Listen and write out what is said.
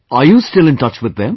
Are you still in touch with them